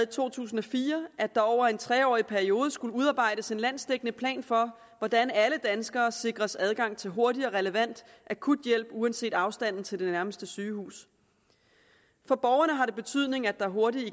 to tusind og fire at der over en tre årig periode skulle udarbejdes en landsdækkende plan for hvordan alle danskere sikres adgang til hurtig og relevant akut hjælp uanset afstanden til nærmeste sygehus for borgerne har det betydning at der hurtigt